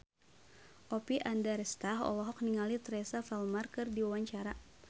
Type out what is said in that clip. Oppie Andaresta olohok ningali Teresa Palmer keur diwawancara